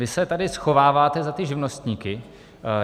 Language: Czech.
Vy se tady schováváte za ty živnostníky.